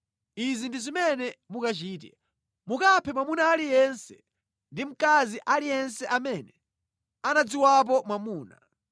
Izi ndi zimene mukachite. “Mukaphe mwamuna aliyense ndi mkazi aliyense amene anadziwapo mwamuna.”